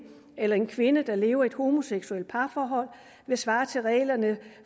eller en kvinde der lever i et homoseksuelt parforhold vil svare til reglerne